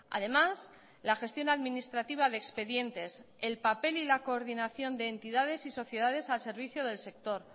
además la gestión administrativa de expedientes el papel y la coordinación de entidades y sociedades al servicio del sector